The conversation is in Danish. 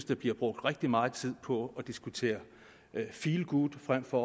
der bliver brugt rigtig meget tid på at diskutere feel good frem for